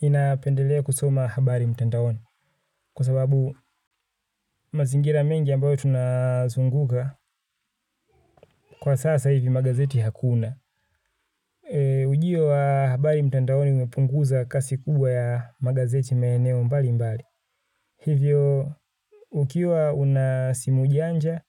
Ninapendelea kusoma habari mtandaoni kwa sababu mazingira mengi ambayo tunazunguka kwa sasa hivi magazeti hakuna. Ujio wa habari mtandaoni umepunguza kasi kubwa ya magazeti maeneo mbali mbali. Hivyo ukiwa una simu janja,